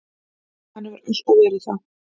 Hann hefur alltaf verið það.